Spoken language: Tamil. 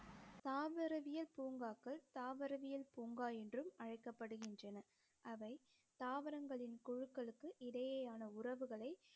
தாவரவியல் பூங்காக்கள் தாவரவியல் பூங்கா என்றும் அழைக்கப்படுகிறன அவை தாவரங்களின் குழுக்களுக்கு இடையேயான உறவுகளை